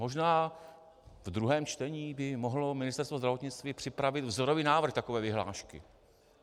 Možná v druhém čtení by mohlo Ministerstvo zdravotnictví připravit vzorový návrh takové vyhlášky.